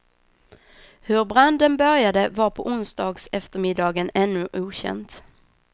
Hur branden började var på onsdagseftermiddagen ännu okänt.